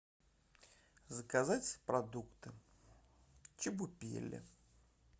заказать продукты чебупели